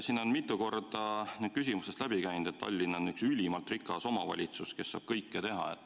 Siin on mitu korda küsimustest läbi käinud, et Tallinn on üks ülimalt rikas omavalitsus, kes saab kõike teha.